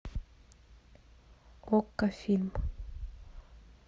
окко фильм